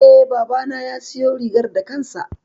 E, babana ya siyo rigar da kansa.